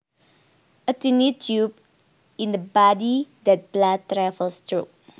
A tiny tube in the body that blood travels through